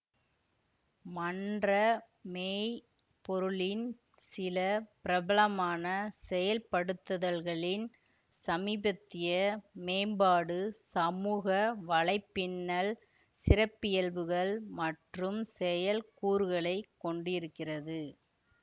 மன்ற மெய் பொருளின் சில பிரபலமான செயல்படுத்துதல்களின் சமீபத்திய மேம்பாடு சமூக வலைப்பின்னல் சிறப்பியல்புகள் மற்றும் செயல்கூறுகளைக் கொண்டிருக்கிறது